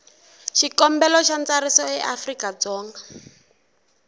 xikombelo xa ntsariso eafrika dzonga